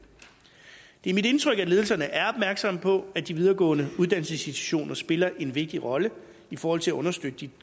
det er mit indtryk at ledelserne er opmærksomme på at de videregående uddannelsesinstitutioner spiller en vigtig rolle i forhold til at understøtte